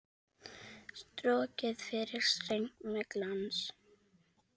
Strokið yfir streng með glans.